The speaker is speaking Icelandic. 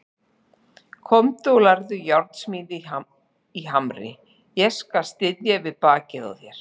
Komdu og lærðu járnsmíði í Hamri, ég skal styðja við bakið á þér.